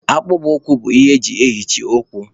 Akpụkpọ ụkwụ bụ ihe eji eyichi ụkwụ